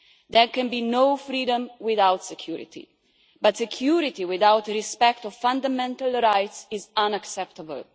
There can be no freedom without security, but security without respect of fundamental rights is unacceptable.